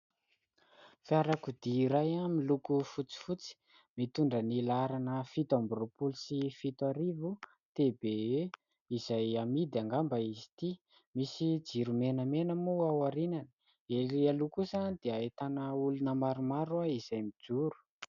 Fiarakodia iray miloko fotsifotsy, mitondra ny laharana fito amby roapolo sy fito arivo "TBE" izay amidy angamba izy ity. Misy jiro menamena moa ao aorianany, erÿ aloha kosa dia ahitàna olona maromaro izay mijoro.